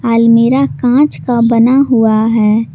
अलमीरा कांच का बना हुआ है।